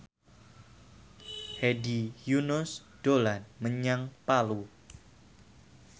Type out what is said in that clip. Hedi Yunus dolan menyang Palu